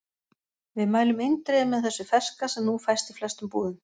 Við mælum eindregið með þessu ferska sem nú fæst í flestum búðum.